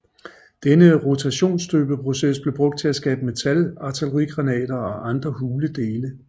Denne rotationsstøbeproces blev brugt til at skabe metal artillerigranater og andre hule dele